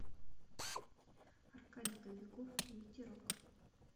аркадий кобяков ветерок